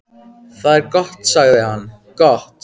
Það er gott sagði hann, gott